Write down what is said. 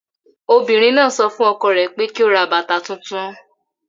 Obìnrin náà sọ fún ọkọ rẹ̀ pé kí ó ra bàtà tuntun